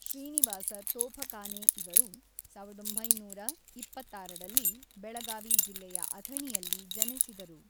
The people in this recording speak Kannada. ಶ್ರೀನಿವಾಸ ತೋಫಖಾನೆ ಇವರು ೧೯೨೬ರಲ್ಲಿ ಬೆಳಗಾವಿ ಜಿಲ್ಲೆಯ ಅಥಣಿಯಲ್ಲಿ ಜನಿಸಿದರು.